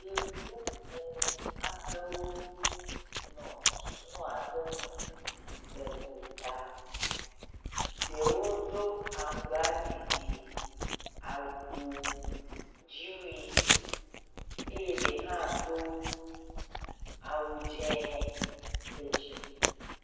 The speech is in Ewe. Yevu ene aɖewo nɔ suno aɖe me le gota, ɖewo do aŋgbaɖiɖi awu dzi wui eye ɖe hã do awu dziɔ̃ ɖe dzime.